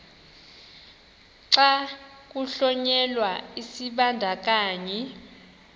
xa kuhlonyelwa isibandakanyi